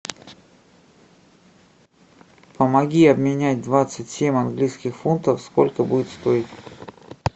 помоги обменять двадцать семь английских фунтов сколько будет стоить